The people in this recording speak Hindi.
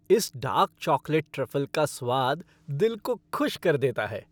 इस डार्क चॉकलेट ट्रफ़ल का स्वाद दिल को खुश कर देता है।